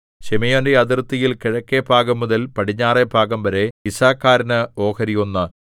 ശിമെയൊന്റെ അതിർത്തിയിൽ കിഴക്കെഭാഗംമുതൽ പടിഞ്ഞാറെ ഭാഗംവരെ യിസ്സാഖാരിന് ഓഹരി ഒന്ന്